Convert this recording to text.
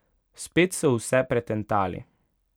Spet so vse pretentali.